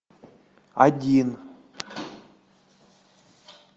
один